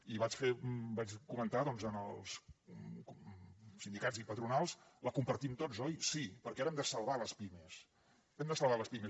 i vaig comentar doncs als sindicats i patronals la compartim tots oi sí perquè ara hem de salvar les pimes hem de salvar les pimes